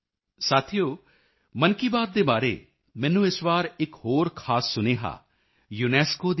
ਸਾਥੀਓ ਮਨ ਕੀ ਬਾਤ ਦੇ ਬਾਰੇ ਮੈਨੂੰ ਇਸ ਵਾਰੀ ਇਕ ਹੋਰ ਖਾਸ ਸੁਨੇਹਾ ਯੂਨੈਸਕੋ ਯੂਨੇਸਕੋ ਦੀ ਡੀ